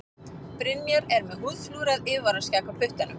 Brynjar er með húðflúrað yfirvaraskegg á puttanum.